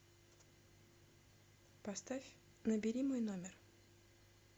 поставь набери мой номер